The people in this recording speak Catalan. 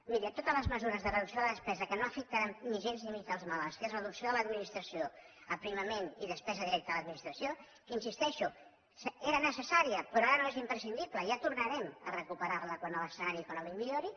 miri totes les mesures de reducció de la despesa que no afectaran gens ni mica els malalts que és la reducció de l’administració aprimament i despesa directa a l’administració que hi insisteixo era necessària però ara no és imprescindible ja tornarem a recuperar la quan l’escenari econòmic millori